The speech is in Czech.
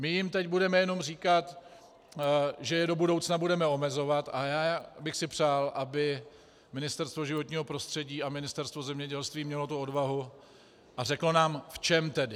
My jim teď budeme jenom říkat, že je do budoucna budeme omezovat, a já bych si přál, aby Ministerstvo životního prostředí a Ministerstvo zemědělství mělo tu odvahu a řeklo nám, v čem tedy.